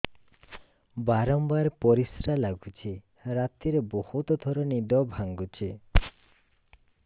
ବାରମ୍ବାର ପରିଶ୍ରା ଲାଗୁଚି ରାତିରେ ବହୁତ ଥର ନିଦ ଭାଙ୍ଗୁଛି